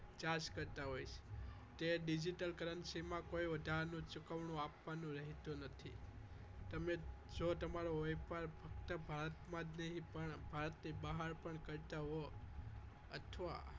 Charge કરતા હોય છે તે digital currency માં કોઈ વધારાનું ચુકવણું આપવાનું રહેતું નથી તમે જો તમારો વેપાર ભારતમાં જ નહીં પરંતુ ભારતની બહાર કરતા હો અથવા